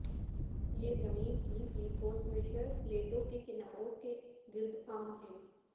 یہ زمین کی لیتھوسمشر پلیٹوں کے کناروں کے گرد عام ہے